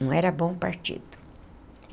Não era bom partido.